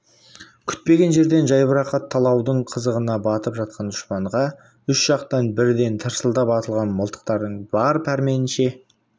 күтпеген жерден жайбарақат талаудың қызығына батып жатқан дұшпанға үш жақтан бірден тарсылдап атылған мылтықтардың бар пәрменінше